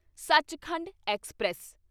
Sachkhand express